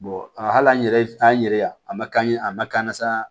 hali an yɛrɛ taa an yɛrɛ ye yan a man k'an ye a ma kan ka san